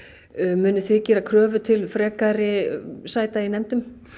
munuð þið gera kröfu til frekari sæta í nefndum